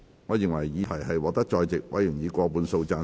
我認為議題獲得在席委員以過半數贊成。